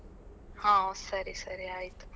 ಹಾ ಸರಿ ಸರಿ ಆಯ್ತು.